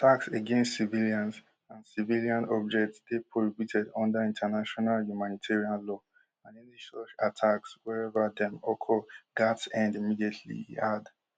attacks against civilians and civilian objects dey prohibited under international humanitarian law and any such attacks wherever dem occur gatz end immediately e add